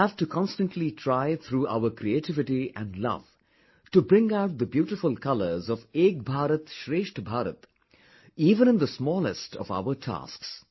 We have to constantly try through our creativity and love to bring out the beautiful colors of 'Ek BharatShrestha Bharat' even in the smallest of our tasks